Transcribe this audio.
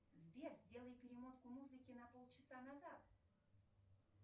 сбер сделай перемотку музыки на пол часа назад